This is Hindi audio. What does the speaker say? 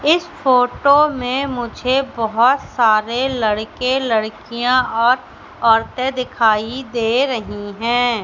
इस फोटो में मुझे बहोत सारे लड़के लड़कियां और औरतें दिखाई दे रही हैं।